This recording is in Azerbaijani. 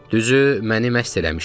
Düzü, məni məst eləmişdi.